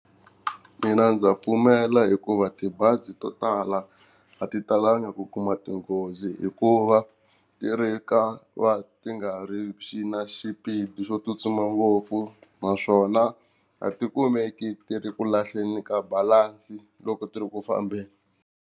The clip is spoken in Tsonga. Mina ndza pfumela hikuva tibazi to tala a ti talanga ku kuma tinghozi hikuva ti ri ka va ti nga ri xi na xipidi xo tsutsuma ngopfu, naswona a ti kumeki ti ri ku lahleni ka balansi loko ti ri ku fambeni.